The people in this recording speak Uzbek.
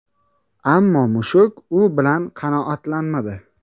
Ammo mushuk bu bilan qanoatlanmadi.